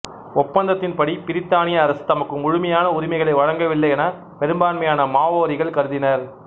ஒப்பந்தத்தின் படி பிரித்தானிய அரசு தமக்கு முழுமையான உரிமைகளை வழங்கவில்லை என பெரும்பான்மையான மாவோரிகள் கருதினர்